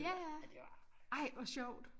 Ja ja ej hvor sjovt